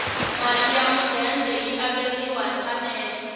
mali ya mudende yi averiwa hi mfanelo